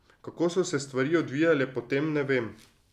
Kako so se stvari odvijale po tem, ne vem.